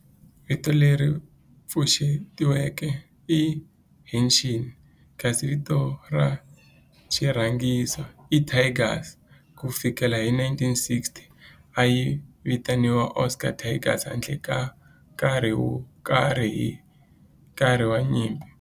Vito leri pfuxetiweke i"Hanshin" kasi vito ra xirhangiso i"Tigers". Ku fikela hi 1960, a yi vitaniwa Osaka Tigers handle ka nkarhi wo karhi hi nkarhi wa nyimpi.